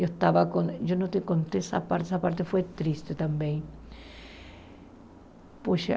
Eu estava com eu não te contei essa parte, essa parte foi triste também. Puxa